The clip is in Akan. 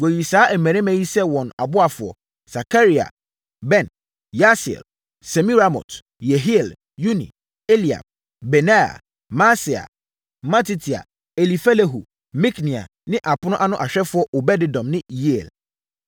Wɔyii saa mmarima yi sɛ wɔn aboafoɔ: Sakaria, Ben, Yaasiel, Semiramot, Yehiel, Uni, Eliab, Benaia, Maaseia, Matitia, Elifelehu, Mikneia ne apono ano ahwɛfoɔ Obed-Edom ne Yeiel.